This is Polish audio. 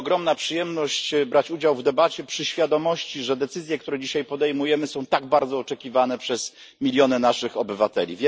To ogromna przyjemność brać udział w debacie ze świadomością, że decyzje, które dzisiaj podejmujemy, są tak bardzo oczekiwane przez miliony naszych obywateli.